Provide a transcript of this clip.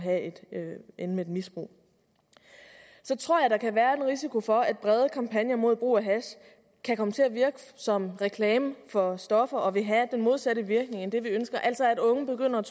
ende med et misbrug så tror jeg at der kan være en risiko for at brede kampagner mod brug af hash kan komme til at virke som reklame for stoffer og vil have den modsatte virkning end det vi ønsker altså at unge begynder